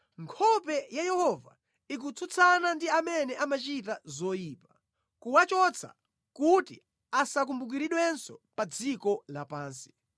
nkhope ya Yehova ikutsutsana ndi amene amachita zoyipa, kuwachotsa kuti asawakumbukirenso pa dziko lapansi.